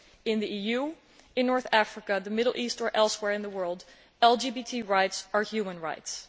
In the EU, North Africa, the Middle East or elsewhere in the world, LGBT rights are human rights.